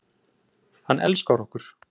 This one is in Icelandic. Hann elskar okkur.